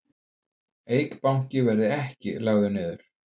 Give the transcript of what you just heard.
Eik Banki verði ekki lagður niður